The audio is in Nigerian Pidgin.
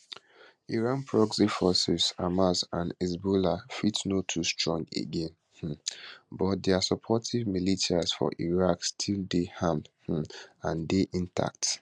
iran proxy forces hamas and hezbollah fit no too strong again um but dia supportive militias for iraq still dey armed um and dey intact